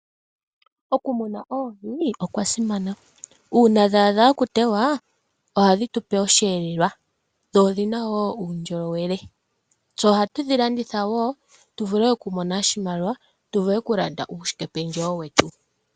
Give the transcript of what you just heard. Okumuna oohi okwasimana uuna dha adha okutewa ohadhi tupe oshihelelwa dho odhina wo uundjolowele, tse ohatu dhilanditha wo tuvule okumona oshimaliwa tuvule okulanda uushike pendjewo wetu.